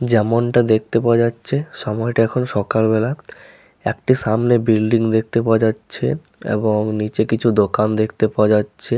যেমনটা দেখতে পাওয়া যাচ্ছে সময়টা এখন সকালবেলা একটি সামনে বিল্ডিং দেখতে পাওয়া যাচ্ছে এবং নিচে কিছু দোকান দেখতে পাওয়া যাচ্ছে।